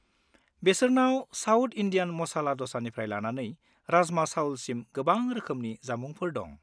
बेसोरनाव South Indian masala दसानिफ्राय लानानै राजमा चाउलसिम गोबां रोखोमनि जामुंफोर दं।